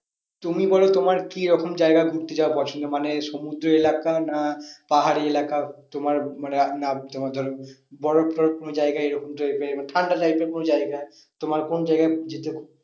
তুমি বলো তোমার কি রকম জায়গা ঘুরতে যাওয়া পছন্দ? মানে সমুদ্র এলাকা না পাহাড়ি এলাকা তোমার না তোমার ধরো বরফ টোরফ কোনো জায়গা এরকম type এর মানে ঠান্ডা life এর কোনো জায়গা তোমার কোন জায়গা যেতে